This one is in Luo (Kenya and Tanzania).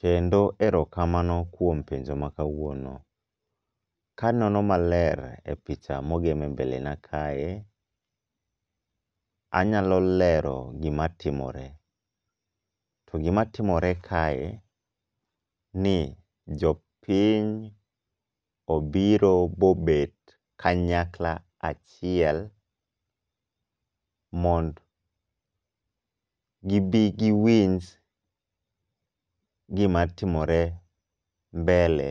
Kendo erokamano kuom penjo makawuono. Ka anono maler e picha mogem embele na kae, anyalo lero gima timore, to gima timore kae en ni jopiny obiro mobet kanyakla achiel mondo gibi giwinj gimatimore mbele